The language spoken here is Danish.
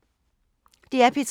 DR P3